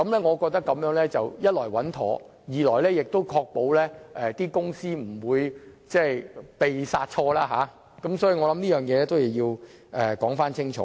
我認為這做法既穩妥，亦可確保公司不會"被殺錯"，所以我認為有必要清楚說明這一點。